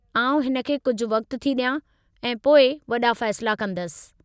आउं हिन खे कुझु वक़्तु थी ॾियां ऐं पोइ वॾा फ़ैसिला कंदसि।